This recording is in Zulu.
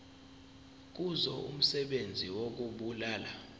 kuzo umsebenzi wokubulala